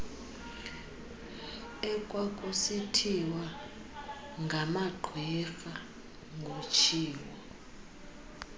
ekwakusithiwa ngamagqwirha ngutshiwo